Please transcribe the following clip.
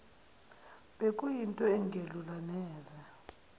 bekuyinto engelula neze